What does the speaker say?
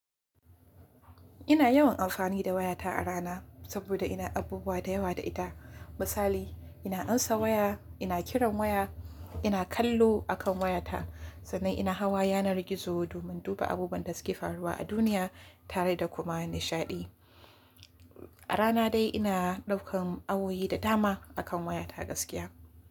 Ina yawan alfani da wayata a rana saboda ina abubuwa da yawa da ita. Misali, ina ansa waya, ina kiran waya, ina kallo akan wayata sannan ina hawa yanar gizo domin duba abubuwan da suke faruwa a duniya tare da kuma nishaɗi. A rana dai ina ɗaukan awoyi da dama akan wayata gaskiya.